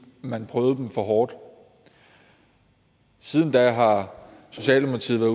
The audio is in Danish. man prøvede dem for hårdt siden da har socialdemokratiet